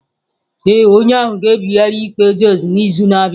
Ee, onye ahụ ga-ebigharị ikpe thjs n'izu na-abịa.